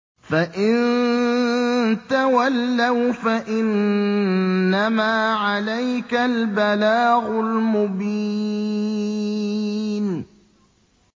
فَإِن تَوَلَّوْا فَإِنَّمَا عَلَيْكَ الْبَلَاغُ الْمُبِينُ